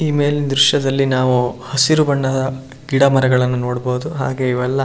ಈ ಮೇಲಿನ ದ್ರಶ್ಯದಲ್ಲಿ ನಾವು ಹಸಿರು ಬಣ್ಣದ ಗಿಡ ಮರಗಳನ್ನು ನೋಡಬಹುದು ಹಾಗೆ ಇವೆಲ್ಲ--